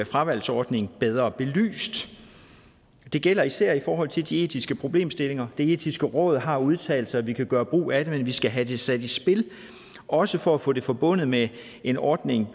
fravalgsordning bedre belyst det gælder især i forhold til de etiske problemstillinger det etiske råd har udtalt sig at vi kan gøre brug af det men vi skal have sat det i spil også for at få det forbundet med en ordning